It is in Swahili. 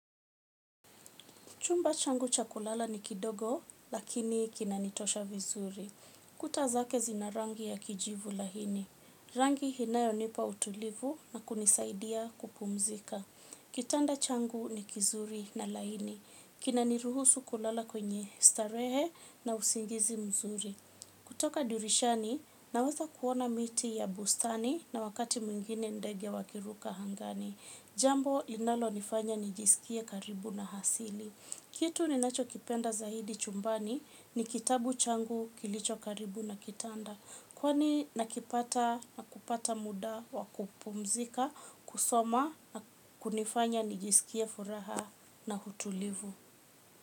Chumba changu cha kulala ni kidogo, lakini kina nitosha vizuri. Kuta zake zina rangi ya kijivu laini. Rangi inayo nipa utulivu na kunisaidia kupumzika. Kitanda changu ni kizuri na laini. Kina niruhusu kulala kwenye starehe na usingizi mzuri. Kutoka dirishani, naweza kuona miti ya bustani na wakati mwingine ndege wakiruka angani. Jambo inalo nifanya nijisikie karibu na asili. Kitu ni nacho kipenda zaidi chumbani ni kitabu changu kilicho karibu na kitanda. Kwani nakipata na kupata muda wa kupumzika, kusoma na kunifanya nijisikie furaha na utulivu.